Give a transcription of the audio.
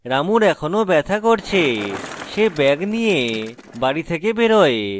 রামুর এখনও ব্যাথা করছে সে ব্যাগ নিয়ে বাড়ি থেকে বেরোয়